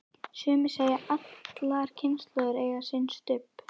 Sumir segja að allar kynslóðir eigi sinn Stubb.